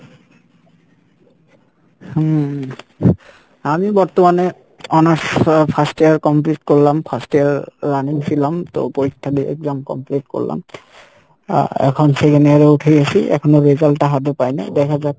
হম আমি বর্তমানে honours আহ first year complete করলাম first year running ছিলাম তো পরীক্ষা দিয়ে exam complete করলাম আহ এখন second year এ উঠে গেসি এখনও result টা হাতে পায় নাই, দেখা যাক